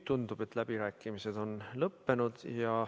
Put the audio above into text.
Tundub, et läbirääkimised on lõppenud.